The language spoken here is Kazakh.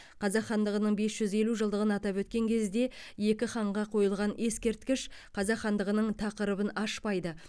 қазақ хандығының бес жүз елу жылдығын атап өткен кезде екі ханға қойылған ескерткіш қазақ хандығының тақырыбын ашпайды